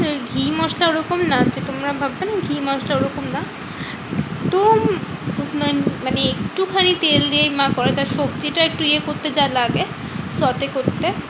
মশলা ওরকম না যে তোমরা ভাববে না ঘি মশলা ওরকম না। একদম মানে একটুখানি তেল দিয়েই মা করে। তা সবজিটা একটু ইয়ে করতে যা লাগে short এ করতে।